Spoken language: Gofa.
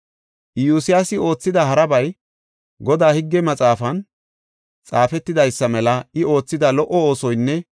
Iyosyaasi oothida harabay, Godaa higgen maxaafan xaafetidaysa mela I oothida lo77o oosoynne